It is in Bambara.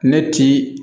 Ne ti